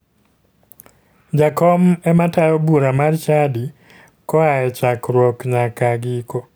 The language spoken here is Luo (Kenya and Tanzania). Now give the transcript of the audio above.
Jakom ema tayo bura mar chadi koa e chakruok nyaka giko